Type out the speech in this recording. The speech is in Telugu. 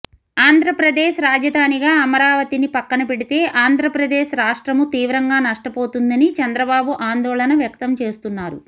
ఆంధ్రప్రదేశ్ రాజధానిగా అమరావతిని పక్కనపెడితే ఆంధ్రప్రదేశ్ రాష్ట్రము తీవ్రంగా నష్టపోతుందని చంద్రబాబు ఆందోళన వ్యక్తం చేస్తున్నారు